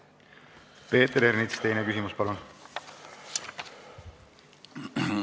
Peeter Ernits, teine küsimus palun!